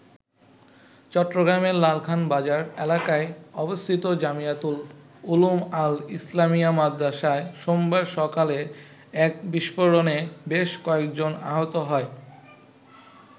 চট্টগ্রামের লালখান বাজার এলাকায় অবস্থিত জামিয়াতুল উলুম আল-ইসলামিয়া মাদ্রাসায় সোমবার সকালে এক বিস্ফোরণে বেশ কয়েকজন আহত হয়।